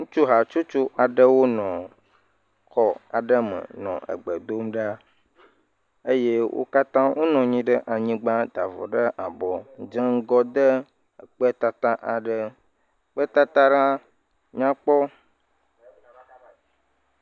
Ŋutsu hatsotso aɖewo nɔ xɔ aɖe me nɔ egbe dom ɖa eye wo katã wonɔ anyi ɖe anyigba ta avɔ ɖe abɔ dze ŋgɔ de ekpetata aɖe. Kpetata aɖe nyakpɔ.